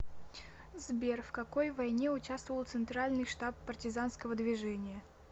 сбер в какой войне участвовал центральный штаб партизанского движения